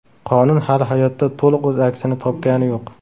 Qonun hali hayotda to‘liq o‘z aksini topgani yo‘q.